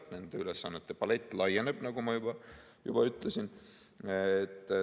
Nende ülesannete palett laieneb, nagu ma juba ütlesin.